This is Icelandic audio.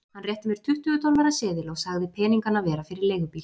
Hann rétti mér tuttugu dollara seðil og sagði peningana vera fyrir leigubíl.